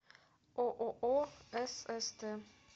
ооо сст